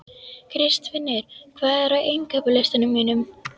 Kristfinnur, hvað er á innkaupalistanum mínum?